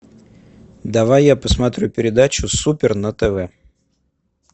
давай я посмотрю передачу супер на тв